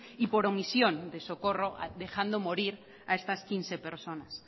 y por omisión de socorro dejando morir a estas quince personas